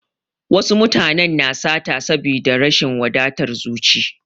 Wasu mutanen na sata saboda da rashin wadatar zuci.